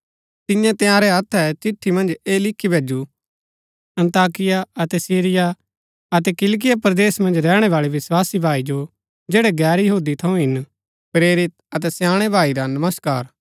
तिन्ये तंयारै हत्थै चिट्ठी मन्ज ऐह लिखु भैजु अन्ताकिया अतै सिरिया अतै किलिकिया परदेस मन्ज रैहणैवाळै विस्वासी भाई जो जैड़ै गैर यहूदी थऊँ हिन प्रेरित अतै स्याणै भाई रा नमस्कार